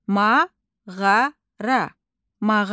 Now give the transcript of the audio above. Mağara, mağara.